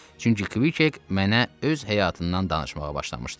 Çünki Kk mənə öz həyatından danışmağa başlamışdı.